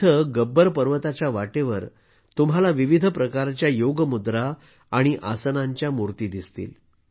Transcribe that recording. येथे गब्बर पर्वताच्या वाटेवर तुम्हाला विविध प्रकारच्या योग मुद्रा आणि आसनांच्या मूर्ती दिसतील